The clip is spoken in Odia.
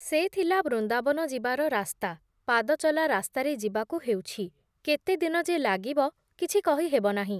ସେ ଥିଲା ବୃନ୍ଦାବନ ଯିବାର ରାସ୍ତା, ପାଦ ଚଲା ରାସ୍ତାରେ ଯିବାକୁ ହେଉଛି, କେତେ ଦିନ ଯେ ଲାଗିବ କିଛି କହିହେବ ନାହିଁ ।